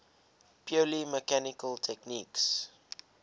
purely mechanical techniques